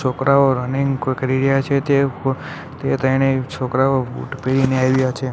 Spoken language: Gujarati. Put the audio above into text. છોકરાઓ રનિંગ કર કરી રહ્યા છે તે તે તેને છોકરાઓ બુટ પહેરીને આવ્યા છે.